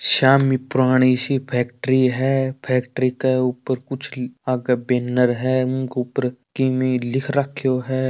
सामने पुरानी सी फैक्ट्री है फैक्ट्री के ऊपर कुछ आगे बैनर है उनके ऊपर किमी लिख रखो है।